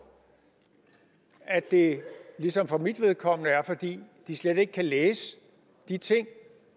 at det ligesom for mit vedkommende er fordi de slet ikke kan læse de ting